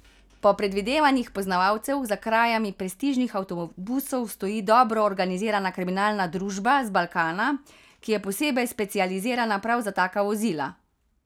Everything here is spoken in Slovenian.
Po predvidevanjih poznavalcev za krajami prestižnih avtobusov stoji dobro organizirana kriminalna družba z Balkana, ki je posebej specializirana prav za taka vozila.